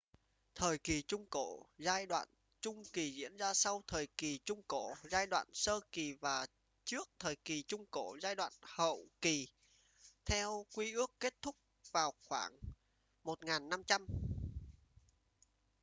thời kỳ trung cổ giai đoạn trung kỳ diễn ra sau thời kỳ trung cổ giai đoạn sơ kỳ và trước thời kỳ trung cổ giai đoạn hậu kỳ theo quy ước kết thúc vào khoảng 1500